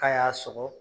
K'a y'a sɔgɔ